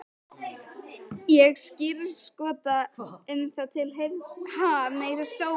Ég skírskota um það til heilbrigðs hyggjuvits almennings.